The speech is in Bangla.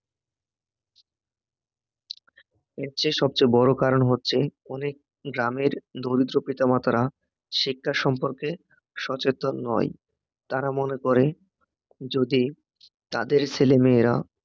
এর চেয়ে সবচেয়ে বড় কারণ হচ্ছে অনেক গ্রামের দরিদ্র পিতামাতারা শিক্ষা সম্পর্কে সচেতন নয় তারা মনে করে যদি তাদের ছেলেমেয়েরা